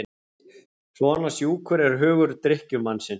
Svona sjúkur er hugur drykkjumannsins.